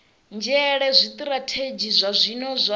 nzhele zwitirathedzhi zwa zwino zwa